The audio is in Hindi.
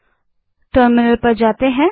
अतः टर्मिनल पर जाएँ